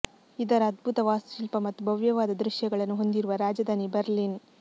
ಇದರ ಅದ್ಭುತ ವಾಸ್ತುಶಿಲ್ಪ ಮತ್ತು ಭವ್ಯವಾದ ದೃಶ್ಯಗಳನ್ನು ಹೊಂದಿರುವ ರಾಜಧಾನಿ ಬರ್ಲಿನ್